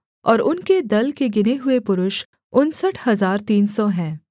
और उनके दल के गिने हुए पुरुष उनसठ हजार तीन सौ हैं